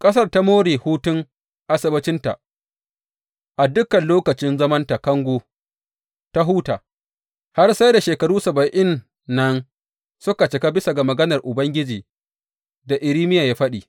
Ƙasar ta more hutun Asabbacinta; a dukan lokacin zamanta kango ta huta, har sai da shekaru saba’in nan suka cika bisa ga maganar Ubangiji da Irmiya ya faɗi.